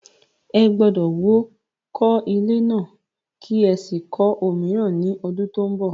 Ẹ gbọ́dọ̀ wó kọ́ ilé náà kí ẹ sì kọ́ òmíràn ní ọdún tó ń bọ̀.